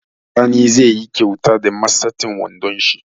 Sani zai yi kauta da matseten wondon shi